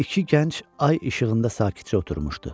İki gənc ay işığında sakitcə oturmuşdu.